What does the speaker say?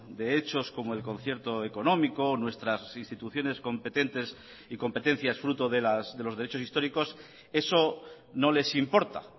de hechos como el concierto económico nuestras instituciones competentes y competencias fruto de los derechos históricos eso no les importa